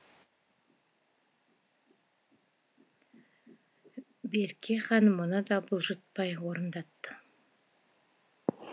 берке хан мұны да бұлжытпай орындатты